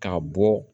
Ka bɔ